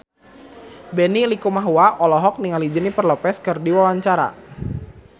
Benny Likumahua olohok ningali Jennifer Lopez keur diwawancara